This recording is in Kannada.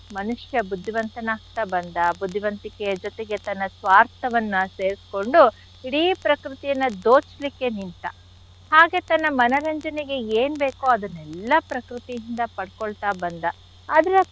ಮನುಷ್ಯ ಬುದ್ಧಿವಂತನಾಗ್ತಾ ಬಂದ ಬುದ್ಧಿವಂತಿಕೆಯ ಜೊತೆಗೆ ತನ್ನ ಸ್ವಾರ್ಥವನ್ನ ಸೇರ್ಸ್ಕೊಂಡು ಇಡೀ ಪ್ರಕೃತಿಯನ್ನ ದೋಚ್ಲಿಕ್ಕೆ ನಿಂತ ಹಾಗೆ ತನ್ನ ಮನರಂಜನೆಗೆ ಏನ್ ಬೇಕೋ ಅದನ್ನೆಲ್ಲ ಪ್ರಕೃತಿಯಿಂದ ಪಡ್ಕೊಳ್ತಾ ಬಂದ ಆದ್ರೆ.